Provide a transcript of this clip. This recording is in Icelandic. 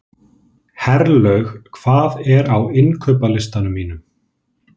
Herlaug, hvað er á innkaupalistanum mínum?